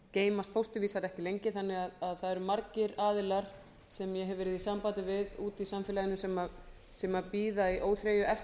geymast fósturvísar ekki lengi þannig að það eru margir aðilar sem ég hef verið í samfélagi við úti í samfélaginu sem bíða í óþreyju eftir